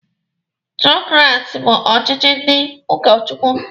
Tiokrasi bụ ọchịchị ndị ụka Chukwu.